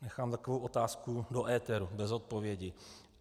Nechám takovou otázku do éteru, bez odpovědi.